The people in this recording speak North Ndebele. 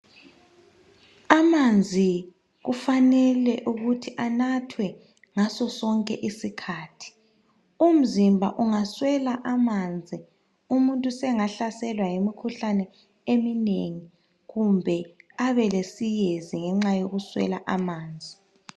Amanzi kufanele ukuthi anathwe ngasosonke isikhathi. Umzimba ungaswela amanzi umuntu sengahlaselwa yimikhuhlane eminengi. Kumbe abe lesiyezi ngenxa yokuswela amanzi.